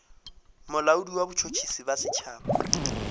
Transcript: molaodi wa botšhotšhisi bja setšhaba